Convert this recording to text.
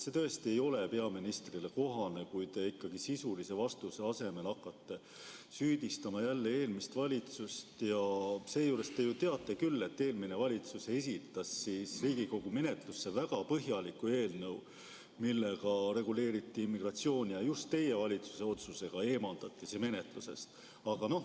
See tõesti ei ole peaministrile kohane, kui te sisulise vastuse asemel hakkate süüdistama jälle eelmist valitsust ja seejuures te ju teate küll, et eelmine valitsus esitas Riigikogu menetlusse väga põhjaliku eelnõu, millega reguleeriti immigratsiooni, ja just teie valitsuse otsusega eemaldati see menetlusest.